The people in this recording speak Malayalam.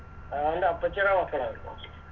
അതവൻറെ അപ്പച്ചിടെ മക്കളായിപ്പോ